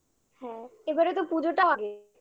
হ্যাঁ এবারে তো পুজোটা আগে